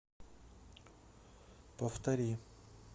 повтори